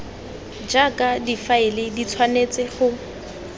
jaaka difaele di tshwanetse go